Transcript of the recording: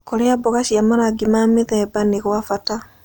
Kũrĩa mboga cia marangĩ ma mĩthemba nĩ gwa bata